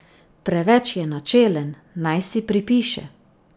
Preveč je načelen, naj si pripiše.